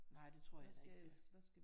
Nej det tror jeg da ikke vi er